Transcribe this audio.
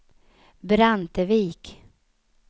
Brantevik